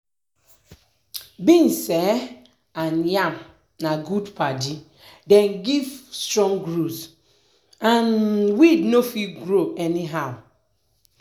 beans um and yam na good padi dem give strong root um and weed no fit um grow anyhow.